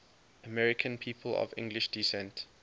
american people of english descent